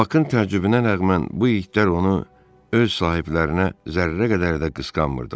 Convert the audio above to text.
Bakın təcrübəsinə rəğmən bu itlər onu öz sahiblərinə zərrə qədər də qısqanmırdılar.